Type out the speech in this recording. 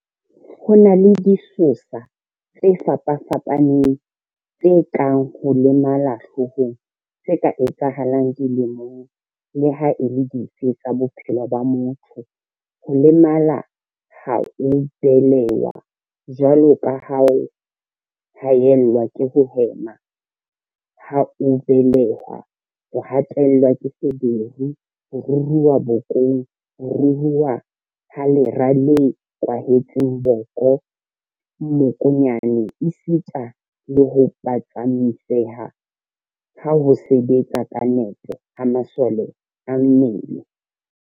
Ho na le disosa tse fapa-fapaneng tse kang ho lemala hloohong tse ka etsahalang dilemong leha e le dife tsa bophelo ba motho, ho lemala ha o belehwa, jwalo ka ho haellwa ke ho hema ha o belehwa, ho hatellwa ke feberu, ho ruruha bokong, ho ruruha ha lera le kwahetseng boko, mmokonyane esitana le ho phatsamiseha ha ho sebetsa ka nepo ha masole a mmele.